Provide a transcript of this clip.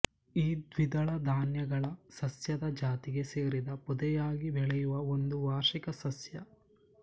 ಇದು ದ್ವಿದಳ ಧಾನ್ಯಗಳ ಸಸ್ಯದ ಜಾತಿಗೆ ಸೇರಿದ ಪೊದೆಯಾಗಿ ಬೆಳೆಯುವ ಒಂದು ವಾರ್ಷಿಕ ಸಸ್ಯ